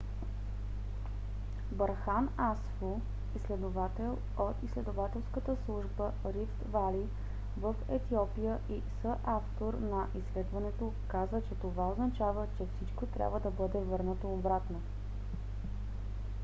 берхан асфо изследовател от изследователската служба рифт вали в етиопия и съавтор на изследването каза че това означава че всичко трябва да бъде върнато обратно